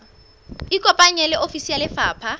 ikopanye le ofisi ya lefapha